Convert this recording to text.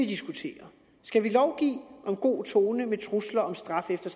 diskuterer skal vi lovgive om god tone med trusler om straf efter